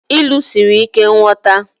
Ilu siri ike nghọta